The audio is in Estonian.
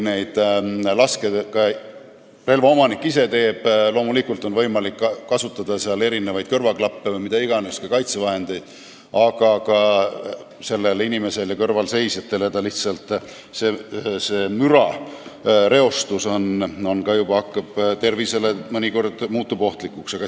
Relva omanikul endal on loomulikult võimalik kasutada kõrvaklappe või mida iganes, ka kaitsevahendeid, aga see mürareostus muutub mõnikord kõrvalseisjate tervisele ohtlikuks.